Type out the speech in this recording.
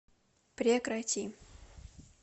прекрати